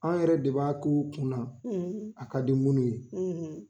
An yɛrɛ de b'a k'uu kunna a ka di munnu ye.